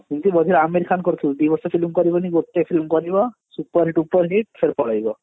ସେମଟି ବଢିଆ ଅମିର ଖାନ କରୁଥିଲା ଦିବର୍ଷ film କରିବନି ଗୋଟେ film କରିବ super ଡୁପର hit ଫେରେ ପଳେଇବ